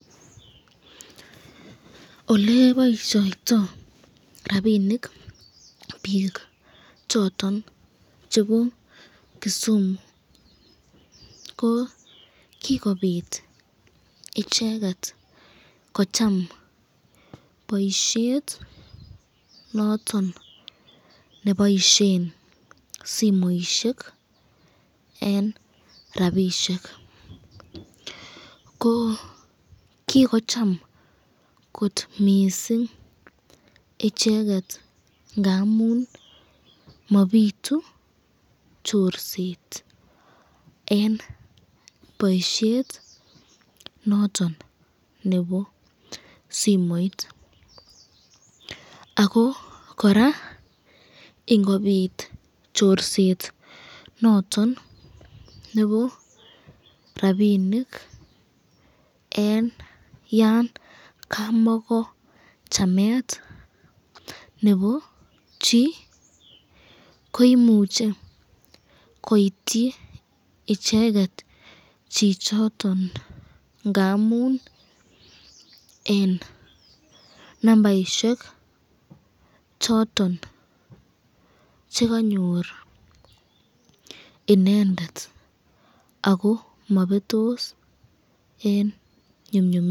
Oleboisyoito rapinik bik choton chebo Kisumu ko kikobit icheket kocham boisyet noton neboisyen simoisyek eng rapishek, ko kikocham kot missing icheket ngamun mabitu chorset eng boisyet noton nebo simoit, ako koraa ingobit chorset noton nebo rapinik eng yan kamako chamet nebo chi ,ko imuche koityi icheket chichoton ngamun eng nambaisyek choton chekanyor inendet ako mabetos eng nyumnyumindo.